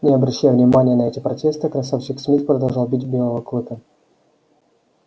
не обращая внимания на эти протесты красавчик смит продолжал бить белого клыка